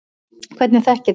Hvernig þekkið þið það?